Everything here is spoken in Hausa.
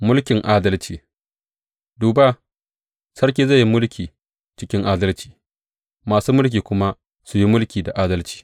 Mulkin adalci Duba, sarki zai yi mulki cikin adalci masu mulki kuma su yi mulki da adalci.